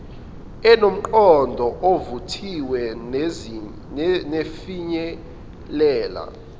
enomqondo ovuthiwe nefinyelele